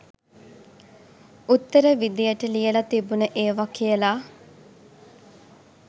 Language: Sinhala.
උත්තර විදියට ලියල තිබුණ ඒව කියල